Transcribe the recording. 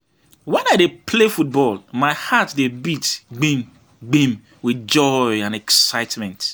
Wen I dey play football, my heart dey beat gbim gbim with joy and excitement.